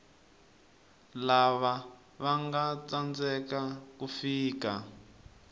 lava vanga tsandzeka ku fika